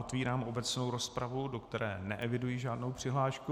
Otvírám obecnou rozpravu, do které neeviduji žádnou přihlášku.